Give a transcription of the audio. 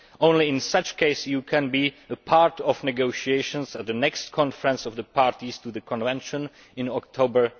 only in such a case can you be part of negotiations at the next Conference of the Parties to the Convention in October